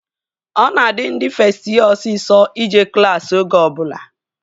Ọ na-adị ndị fest yee osisọ ije klassi oge ọbụla